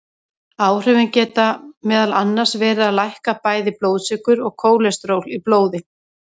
Áhrifin geta meðal annars verið að lækka bæði blóðsykur og kólesteról í blóði.